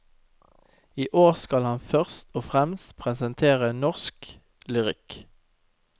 I år skal han først og fremst presentere norsk lyrikk.